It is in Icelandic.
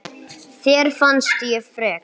Þér fannst ég frek.